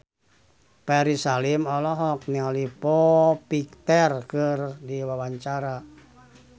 Ferry Salim olohok ningali Foo Fighter keur diwawancara